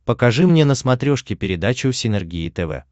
покажи мне на смотрешке передачу синергия тв